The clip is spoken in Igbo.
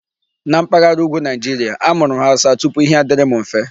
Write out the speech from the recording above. Na mpaghara Ùgwù Nigeria, amụrụ m Hausa tupu Ihe adịrị m mfe.